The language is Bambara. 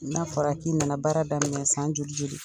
N'a fɔra k'i nana baara daminɛn san joli joli